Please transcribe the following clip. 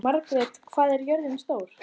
Margrjet, hvað er jörðin stór?